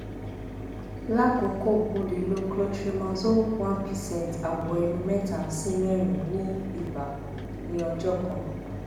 lakoko o le lo clotrimazole 1 percent awọ ẹnu mẹta si mẹrin igba ni ọjọ kan